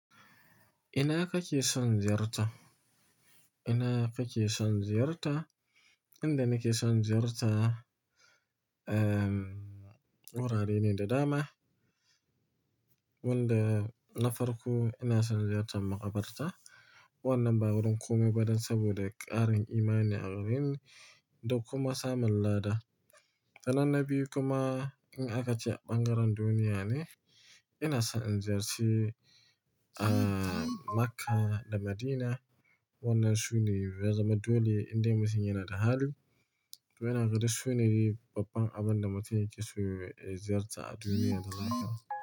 Ina kake son ziyarta? Ina kake son ziyarta? Inda nake son ziyarta, um, wurarene da dama. Wanda na farko ina son ziyartar makabarta wannan ba wurin komeba dan saboda ƙarin imani a wurin da kuma samun lada. Sannan na biyu kuma in akace a ɓangaren duniya ne, inason in ziyarci, ah, Makka da Madina wannan sune ya zama dole indai mutum yanada hali. To yana gani duk sune babban abin da mutum yakeso ya ziyarta a duniya gaba daya.